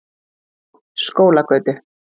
Skólagötu